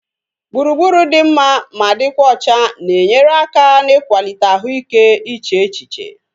Gburugburu dị mma ma dịkwa ọcha na-enyere aka na-ikwalite ahụ ike iche echiche